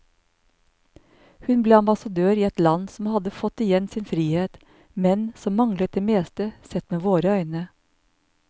Hun ble ambassadør i et land som hadde fått igjen sin frihet, men som manglet det meste, sett med våre øyne.